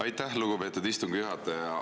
Aitäh, lugupeetud istungi juhataja!